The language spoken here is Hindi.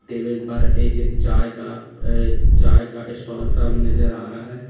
टेबल पर एक चाय का अह चाय का स्टाल सा भी नजर आ रहा है।